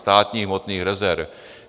Státních hmotných rezerv.